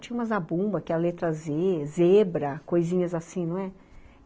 Tinha uma zabumba, que é a letra zê, zebra, coisinhas assim, não é?